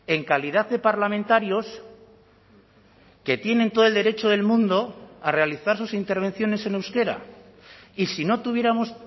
en calidad de parlamentarios que tienen todo el derecho del mundo a realizar sus intervenciones en euskera y si no tuviéramos